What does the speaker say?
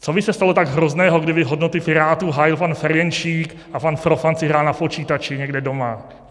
Co by se stalo tak hrozného, kdyby hodnoty Pirátů hájil pan Ferjenčík a pan Profant si hrál na počítači někde doma?